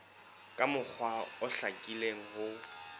ka mokgwa o hlakileng ho